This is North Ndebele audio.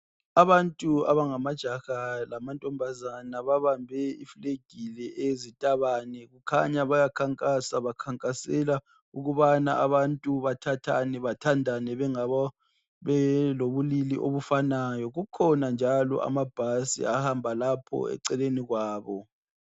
Abantu abangamajaha lamantombazana babambe iflag le yezitabane kukhanya baya khankasa bakhankasela ukubana abantu bathathane bathandane belobulili obufanayo kukhona njalo amabhasi eceleni kwabo.